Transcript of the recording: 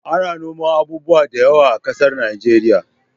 Ana noman abubuwa da yawa a ƙasar nigeria